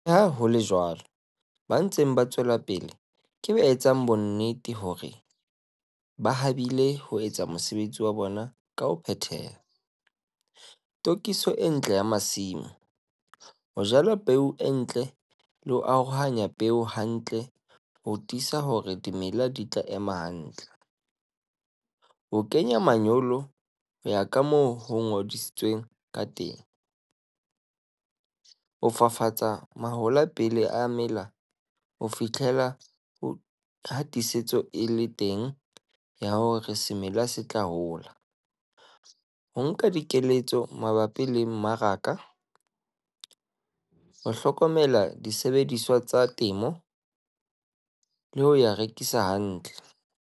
Le ha ho le jwalo, ba ntseng ba tswela pele ke ba etsang bonnete hore ba habile ho etsa mosebetsi wa bona ka ho phethaha - tokiso e ntle ya masimo, ho jala peo e ntle le ho arohanya peo hantle ho tiisa hore dimela di tla ema hantle, ho kenya manyolo ho ya ka moo ho kgothalleditsweng ka teng, ho fafatsa mahola pele a mela ho fihlela ha tiisetso e le teng ya hore semela se tla hola, ho nka dikeletso mabapi le mmaraka, ho hlokomela disebediswa tsa temo le ho ya rekisa hantle.